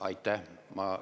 Aitäh!